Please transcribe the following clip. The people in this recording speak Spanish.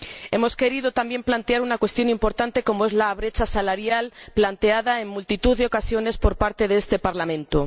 Hemos querido también plantear una cuestión importante, como es la brecha salarial, planteada en multitud de ocasiones por parte de este Parlamento.